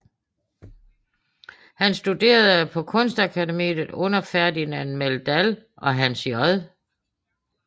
Han studerede på Kunstakademiet under Ferdinand Meldahl og Hans J